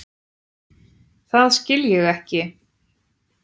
Það skil ég ekki.